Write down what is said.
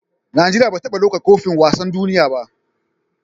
Nigeria bata taba ɗaukar kofin wasan duniya ba